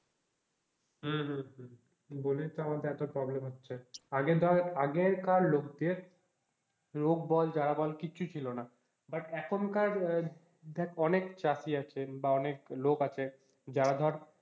হম হম হম বলেই তো আমাদের এতো problem হচ্ছে। আগে ধর আগেকার লোকদের রোগ বল যা বল কিচ্ছু ছিল না, but এখনকার দেখ অনেক চাষী আছেন বা অনেক লোক আছে যারা ধর,